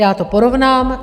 Já to porovnám.